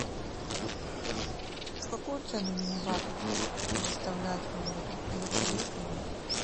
в какую цену мини бар предоставляют в номере и вообще есть ли он